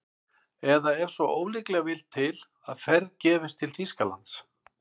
Eða ef svo ólíklega vill til að ferð gefist til Þýskalands